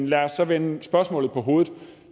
lad os så vende spørgsmålet på hovedet